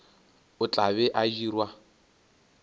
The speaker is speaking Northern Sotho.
o tla be a dirwa